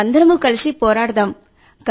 మనందరం కలిసి పోరాడుదాం